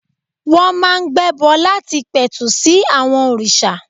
Wọ́n máa ń gbẹ́bọ láti pẹ̀tù sí àwọn òrìṣà.